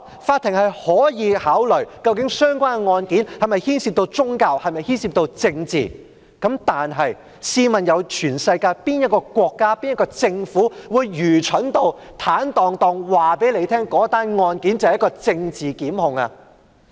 法庭可以考慮相關案件是否牽涉宗教或政治，但試問全世界又有哪個國家或政府會愚蠢至坦蕩蕩告訴你，那宗案件是一宗政治檢控呢？